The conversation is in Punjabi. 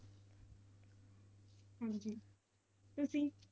ਹਾਂਜੀ, ਤੁਸੀਂ?